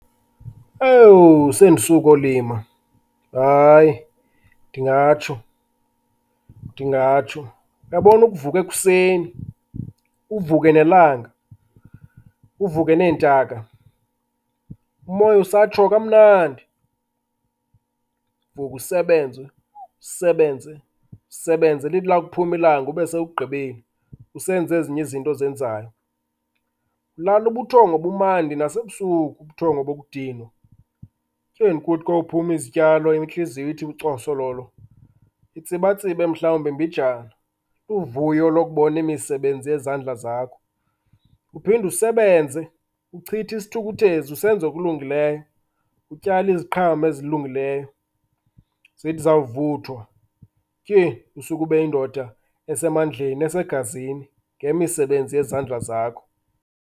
Owu sendisuka olima, hayi, ndingatsho, ndingatsho. Uyabona ukuvuka ekuseni, uvuke nelanga, uvuke neentaka, umoya usatsho kamnandi, uvuke usebenze, usebenze, usebenze. Lithi lakuphuma ilanga ube sogqibile, usenze ezinye izinto ozenzayo, ulala ubuthongo ubumandi nasebusuku, ubuthongo bokudinwa. Tyhini kuthi kophuma izityalo intliziyo ithi cosololo, itsabatsibe mhalwumbi mbinjana, uvuyo lokubona imisebenzi yezandla zakho, uphinde usebenze, uchithe isithukuthezi usenza okulungileyo utyala iziqhamo ezilungileyo. Zithi zawuvuthwa, tyhini, usuke ube yindoda esamandleni, esegazini ngemisebenzi yezandla zakho.